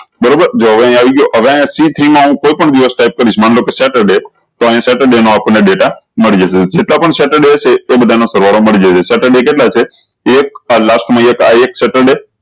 બરોબર જો હવે અયીયા આવી ગયો હવે આ સી થ્રી મા કોઈ પણ દિવસ ટાયપ કરીશ માન લો કે સેટરડે તો અયી સેટરડે નો આપણ ને ડેટામળી જશે જેટલા પણ સેટરડે છે એ બધા નો સરવાળો મળી જશે સેટરડે કેટલા છે એક આ last મા એક આ એક સેટરડે